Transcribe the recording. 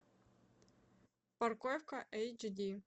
парковка эйч ди